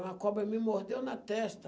Uma cobra me mordeu na testa.